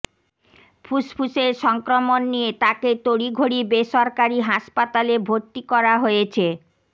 ফুসফুসের সংক্রমণ নিয়ে তাকে তড়িঘড়ি বেসরকারি হাসপাতালে ভর্তি করা হয়েছে